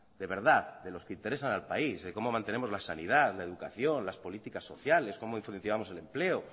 de verdad de los que interesa al país de cómo mantenemos la sanidad la educación las políticas sociales cómo influenciamos el empleo